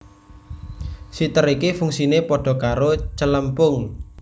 Siter iki fungsine pada karo Celempung